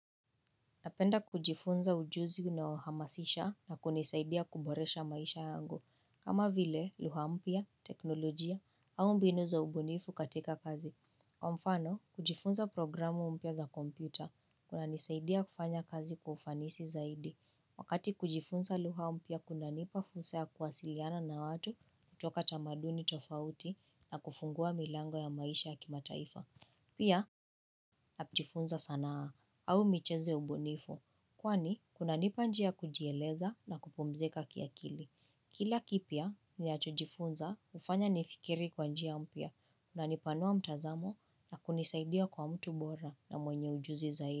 Napenda kujifunza ujuzi unaohamasisha na kunisaidia kuboresha maisha yangu. Kama vile, luha mpya, teknolojia, au mbinu za ubunifu katika kazi. Kwa mfano, kujifunza programu mpya za kompyuta, kunanisaidia kufanya kazi kwa ufanisi zaidi. Wakati kujifunza luha mpya kunanipa fursa ya kuwasiliana na watu kutoka tamaduni tofauti na kufungua milango ya maisha ya kimataifa. Pia, napjifunza sanaa au micheze ya ubunifu. Kwani, kunanipa njia ya kujieleza na kupumzika kiakili. Kila kipya, ninachojifunza hufanya nifikiri kwa njia mpya. Kunanipanua mtazamo na kunisaidia kuwa mtu bora na mwenye ujuzi zaidi.